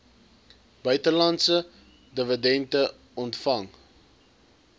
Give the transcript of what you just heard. buitelandse dividende ontvang